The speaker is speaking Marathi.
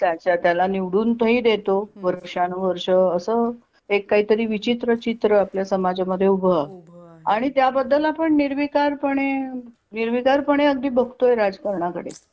त्याच्या त्याला निवडून ही देतो वर्षानं वर्ष असं एक काहीतरी विचित्र चित्र आपल्या समाज मध्ये उभं आहे. उभं आहे आणि त्याबद्दल आपण निर्विकार पणे निर्विकार पणे अगदी बघतोय राजकारणाकडे.